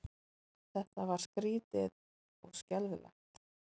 Þetta var skrýtið og skelfilegt.